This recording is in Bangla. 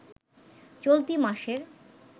চলতি মাসের